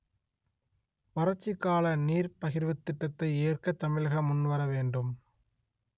வறட்சி கால நீர் பகிர்வுத் திட்டத்தை ஏற்க தமிழகம் முன்வர வேண்டும்